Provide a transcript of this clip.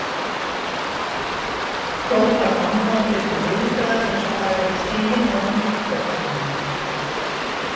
hrópar mamma og tekur viðbragð eins og hafi verið stigið ofan á líkþornið á henni.